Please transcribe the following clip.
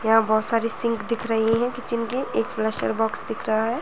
यहाँ बहुत सारी सिंक दिख रहीं हैं किचन की एक फ्लशर बॉक्स दिख रहा है।